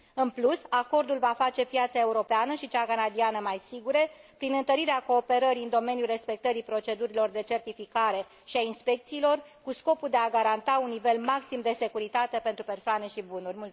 În plus, acordul va face piața europeană și cea canadiană mai sigure prin întărirea cooperării în domeniul respectării procedurilor de certificare și a inspecțiilor cu scopul de a garanta un nivel maxim de securitate pentru persoane și bunuri.